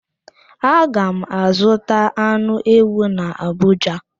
Aga m azụta anụ ewu n'Abụja.